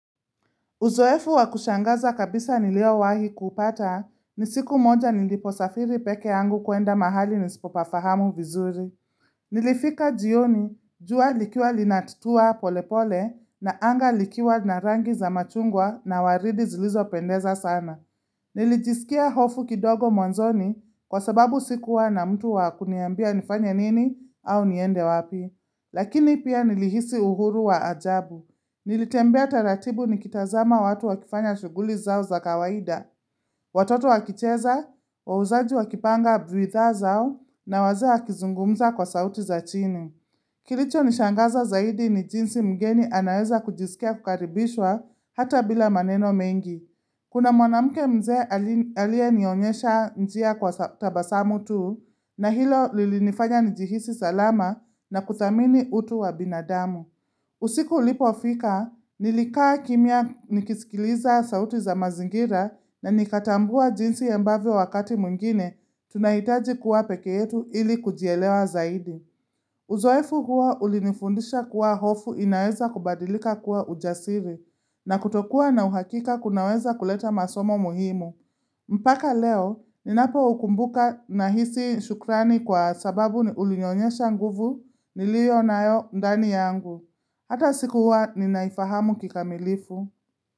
Uzoefu wakushangaza kabisa niliowahi kupata, ni siku moja niliposafiri peke yangu kwenda mahali nisipopafahamu vizuri. Nilifika jioni, jua likiwa linatutua pole pole na anga likiwa na rangi za machungwa na waridi zilizopendeza sana. Nilijisikia hofu kidogo mwanzoni kwa sababu sikuwa na mtu wa kuniambia nifanya nini au niende wapi. Lakini pia nilihisi uhuru wa ajabu. Nilitembea taratibu ni kitazama watu wakifanya shughuli zao za kawaida, watoto wakicheza, wauzaji wakipanga bidhaa zao na wazee wakizungumza kwa sauti za chini. Kilichonishangaza zaidi ni jinsi mgeni anaweza kujisikia kukaribishwa hata bila maneno mengi. Kuna mwanamke mzee aliyenionyesha njia kwa tabasamu tu na hilo lilinifanya nijihisi salama na kudhamini utu wa binadamu. Usiku ulipofika, nilikaa kimya nikisikiliza sauti za mazingira na nikatambua jinsi ya mbavyo wakati mwingine, tunahitaji kuwa peke yetu ili kujielewa zaidi. Uzoefu huwa ulinifundisha kuwa hofu inaweza kubadilika kuwa ujasiri na kutokuwa na uhakika kunaweza kuleta masomo muhimu. Mpaka leo, ninapokumbuka nahisi shukrani kwa sababu ulinyonyesha nguvu niliyonayo ndani yangu. Hata sikuwa ninaifahamu kikamilifu.